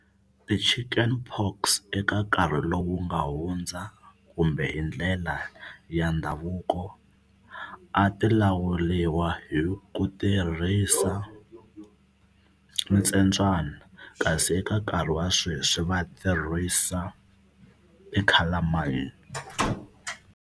Ti-chicken pox eka nkarhi lowu nga hundza kumbe hi ndlela ya ndhavuko a ti lawuriwa hi ku tirhisa ntsembyana kasi eka nkarhi wa sweswi va tirhisa e calamine.